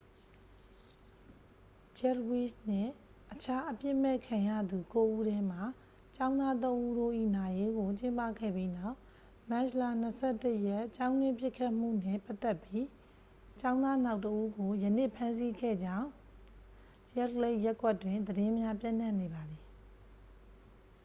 ဂျက်ဖ်ဝိစ်နှင့် အခြားအပြစ်မဲ့ခံရသူ ကိုးဉီးထဲမှ ကျောင်းသားသုံးဉီးတို့၏ နာရေးကို ကျင်းပခဲ့ပြီးနောက် မတ်လ 21 ရက် ကျောင်းတွင်းပစ်ခတ်မှုနှင့် ပတ်သက်ပြီး ကျောင်းသားနောက်တစ်ဦးကို ယနေ့ ဖမ်းဆီးခဲ့ကြေင်း ရက်ဒ်လိတ်ခ် ရပ်ကွက်တွင် သတင်းများ ပျံ့နှံ့နေပါသည်